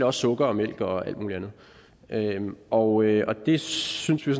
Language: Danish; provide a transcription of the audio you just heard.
også sukker og mælk og alt muligt andet og det synes vi